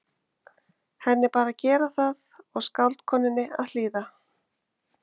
Henni bar að gera það og skáldkonunni að hlýða.